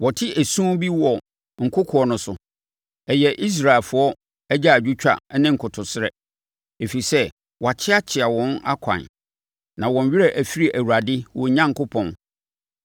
Wɔte esu bi wɔ nkokoɔ no so, ɛyɛ Israelfoɔ agyaadwotwa ne nkotosrɛ, ɛfiri sɛ wɔakyeakyea wɔn akwan na wɔn werɛ afiri Awurade, wɔn Onyankopɔn.